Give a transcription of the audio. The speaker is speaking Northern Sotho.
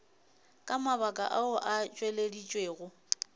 ka mabaka ao a tšweleditšwego